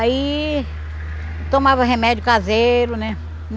Aí, tomava remédio caseiro né.